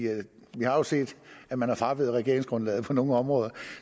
har jo set at man er fraveget regeringsgrundlaget på nogle områder